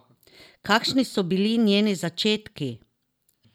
Kakšni so bili njeni začetki?